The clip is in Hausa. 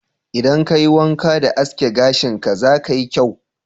Idan ka yi wanƙa da aske gashin ka, za ka yi kyau